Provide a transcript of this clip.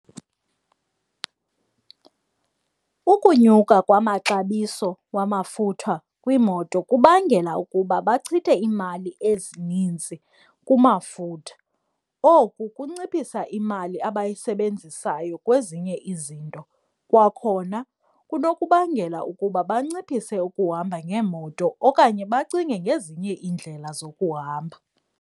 Ukunyuka kwamaxabiso wamafutha kwiimoto kubangela ukuba bachithe iimali ezinintsi kumafutha, oku kunciphisa imali abayisebenzisayo kwezinye izinto. Kwakhona kunokubangela ukuba banciphise ukuhamba ngeemoto okanye bacinge ngezinye iindlela zokuhamba.